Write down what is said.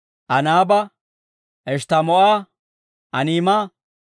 Anaaba, Eshttamoo'a, Aniima,